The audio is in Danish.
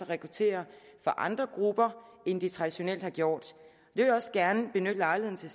rekruttere fra andre grupper end de traditionelt har gjort jeg vil også gerne benytte lejligheden til